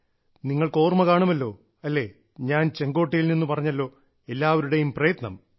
നിങ്ങൾക്ക് ഓർമ്മ കാണുമല്ലോ അല്ലേ ഞാൻ ചെങ്കോട്ടയിൽ നിന്ന് പറഞ്ഞല്ലോഎല്ലാവരുടെയും പ്രയത്നം